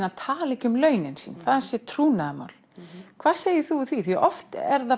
að tala ekki um launin sín þau séu trúnaðarmál hvað segir þú við því því oft er það